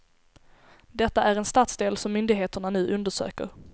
Detta är en stadsdel som myndigheterna nu undersöker.